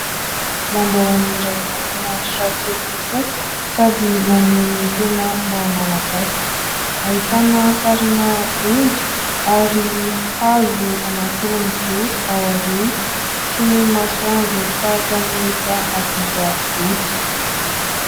Lambahoany iray mafinaritra kely tokoa, sady maneho ny tena maha malagasy. Ahitana sarina omby ary hazo anankiroa mijoro ao aoriana; sy ny masoandro tahakya ny efa hadiva hody.